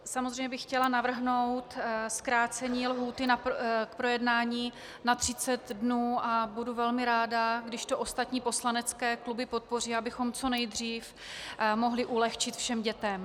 Samozřejmě bych chtěla navrhnout zkrácení lhůty k projednání na 30 dnů a budu velmi ráda, když to ostatní poslanecké kluby podpoří, abychom co nejdřív mohli ulehčit všem dětem.